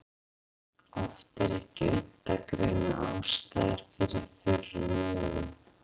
Oft er ekki unnt að greina ástæður fyrir þurrum augum.